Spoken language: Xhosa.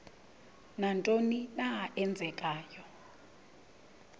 nantoni na eenzekayo